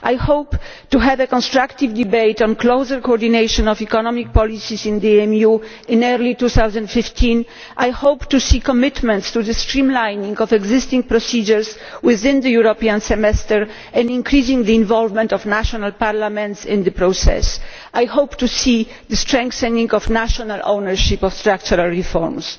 I hope to have a constructive debate on closer coordination of economic policies in the EMU in early 2015. I hope to see commitments to the streamlining of existing procedures within the European Semester and increasing the involvement of national parliaments in the process. I hope to see the strengthening of national ownership of structural reforms.